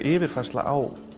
yfirfærsla á